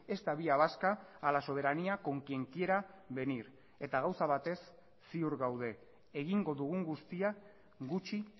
esta vía vasca a la soberanía con quien quiera venir eta gauza batez ziur gaude egingo dugun guztia gutxi